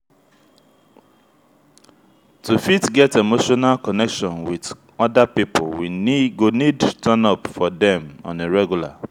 to fit get emotional connection with oda pipo we go need turn up for dem on a regular